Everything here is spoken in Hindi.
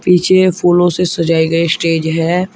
पीछे ये फूलों से सजाए गए स्टेज है।